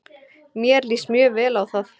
Mér líst mjög vel á það.